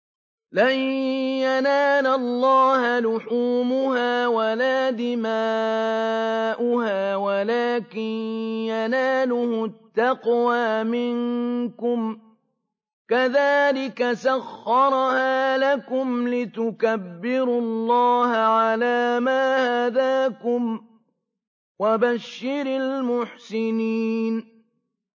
لَن يَنَالَ اللَّهَ لُحُومُهَا وَلَا دِمَاؤُهَا وَلَٰكِن يَنَالُهُ التَّقْوَىٰ مِنكُمْ ۚ كَذَٰلِكَ سَخَّرَهَا لَكُمْ لِتُكَبِّرُوا اللَّهَ عَلَىٰ مَا هَدَاكُمْ ۗ وَبَشِّرِ الْمُحْسِنِينَ